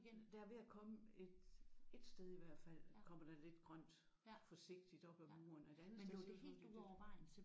Der er ved at komme et et sted i hvert fald kommer der lidt grønt forsigtigt op ad muren og et andet sted ser det ud til at det er ved at